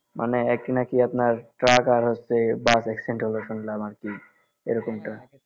মানে একটি নাকি আপনার ট্রাক আর হচ্ছে বাস accident হল শুনলাম আরকি এরকমটা